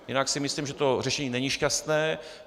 Jinak si myslím, že to řešení není šťastné.